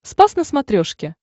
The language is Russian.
спас на смотрешке